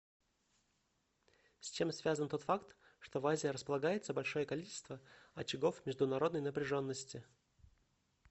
с чем связан тот факт что в азии располагается большое количество очагов международной напряженности